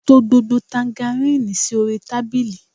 To gbogbo tangaríìnì sí orí tábìlì!